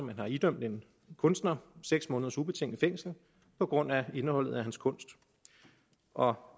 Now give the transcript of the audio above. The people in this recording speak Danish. man har idømt en kunstner seks måneders ubetinget fængsel på grund af indholdet af hans kunst og